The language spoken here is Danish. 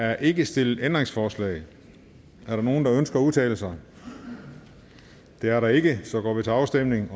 er ikke stillet ændringsforslag er der nogen der ønsker at udtale sig det er der ikke så vi går til afstemning